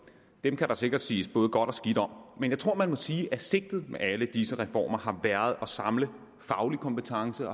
dem kan der sikkert siges både godt og skidt om men jeg tror man må sige at sigtet med alle disse reformer har været at samle faglig kompetence